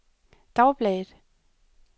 dagbladet